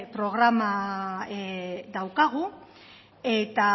programa daukagu eta